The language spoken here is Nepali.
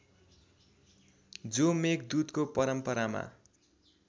जो मेघदूतको परम्परामा